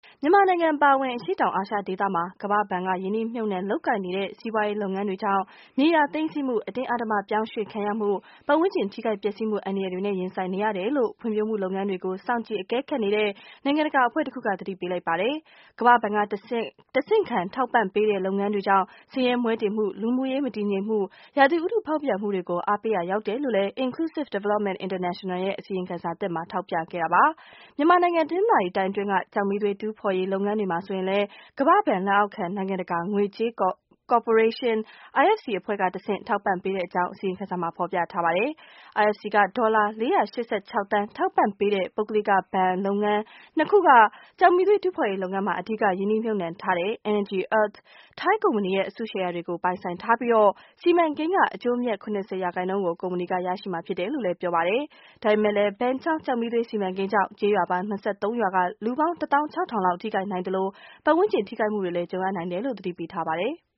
မြန်မာနိုင်ငံအပါအဝင် အရှေ့တောင်အာရှဒေသမှာ ကမ္ဘာ့ဘဏ်က ရင်းနှီးမြှုပ်နှံ လုပ်ကိုင်နေတဲ့ စီးပွားရေး လုပ်ငန်းတွေကြောင့် မြေယာသိမ်းဆည်းမှု၊ အတင်းအဓမ္မပြောင်းရွှေ့ခံရမှု၊ ပတ်ဝန်းကျင် ထိခိုက်ပျက်စီးမှု အန္တရာယ်တွေနဲ့ ရင်ဆိုင်နေရတယ်လို့ ဖွံ့ဖြိုးမှုလုပ်ငန်းတွေကို စောင့်ကြည့်အကဲခတ်နေတဲ့ နိုင်ငံတကာအဖွဲ့တခုက သတိပေးလိုက်ပါတယ်။ ကမ္ဘာ့ဘဏ်က တဆင့်ခံ ထောက်ပံ့ထားတဲ့ လုပ်ငန်းတွေကြောင့် ဆင်းရဲမွဲတေမှု၊ လူမှုရေးမတည်မငြိမ်မှု၊ ရာသီဥတုဖောက်ပြန်မှုတွေကို အားပေးရာ ရောက်တယ်လို့လည်း Inclusive Development International ရဲ့ အစီရင်ခံစာသစ်က ထောက်ပြခဲ့တာပါ။ မြန်မာနိုင်ငံ တနင်္သာရီတိုင်း အတွင်းက ကျောက်မီးသွေး တူးဖော်ရေး လုပ်ငန်းဟာ ဆိုရင်လည်း ကမ္ဘာ့ဘဏ်လက်အောက်ခံ နိုင်ငံတကာငွေကြေးကော်ပိုရေးရှင်း (IFC) အဖွဲ့က တဆင့်ခံ ထောက်ပံ့ထားတဲ့အကြောင်း အစီရင်ခံစာက ဖော်ပြထားပါတယ်။ IFC က ဒေါ်လာ ၄၈၆ သန်း ထောက်ပံ့ထားတဲ့ ပုဂ္ဂလိက ဘဏ်လုပ်ငန်း ၂ ခုဟာ ကျောက်မီးသွေး တူးဖော်ရေး လုပ်ငန်းမှာ အဓိကရင်းနှီးမြှုပ်နှံထားတဲ့ Energy Earth ထိုင်းကုမ္ပဏီရဲ့ အစုရှယ်ယာတွေကို ပိုင်ဆိုင်ထားပြီး၊ စီမံကိန်းက အကျိုးအမြတ် ၇၀ ရာခိုင်နှုန်းကို ကုမ္ပဏီက ရရှိမှာ ဖြစ်တယ်လို့လည်း ပြောပါတယ်။ ဒါပေမဲ့လည်း ဘန်ချောင်းကျောက်မီးသွေး စီမံကိန်းကြောင့် ကျေးရွာပေါင်း ၂၃ ရွာက လူပေါင်း တသောင်း ၆ ထောင်လောက် ထိခိုက်နိုင်သလို၊ ပတ်ဝန်းကျင် ထိခိုက်မှုတွေ ကြုံရနိုင်တယ်လို့လည်း သတိပေးထားပါတယ်။